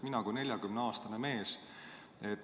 Mina olen 40‑aastane mees.